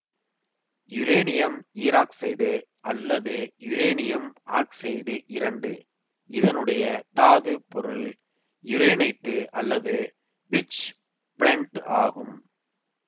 uranium ஈராக்சைடு அல்லது uranium oxide இரண்டு இதனுடைய தாதுப் பொருள் யுரேனைட்டு அல்லது பிட்ச் பிளெண்ட்டு ஆகும்